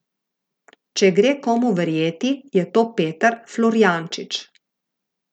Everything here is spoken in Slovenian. Če gre komu verjeti, je to Peter Florjančič.